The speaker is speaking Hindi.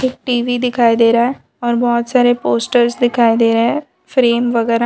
एक टी_वी दिखाई दे रहा है और बहोत सारे पोस्टर्स दिखाई दे रहे हैं फ्रेम वगैरा --